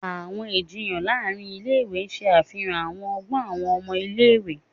Awọn ijiyan láàrin ilé-ìwé ṣe àfihàn àwọn ọgbọn awọn ọmọ ilé-ìwé.